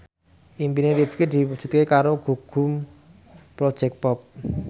impine Rifqi diwujudke karo Gugum Project Pop